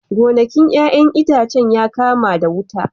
Gonakin 'ya'yan itacen ya kama wuta